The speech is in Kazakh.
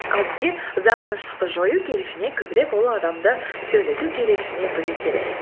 ал бізге ұзақ тыныштықты жою керек және көбірек ол адамды сөйлету керек және білу керек